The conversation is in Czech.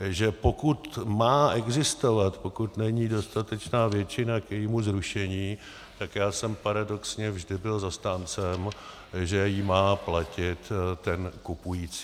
že pokud má existovat, pokud není dostatečná většina k jejímu zrušení, tak já jsem paradoxně vždy byl zastáncem, že ji má platit ten kupující.